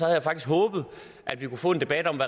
jeg faktisk håbet at vi kunne få en debat om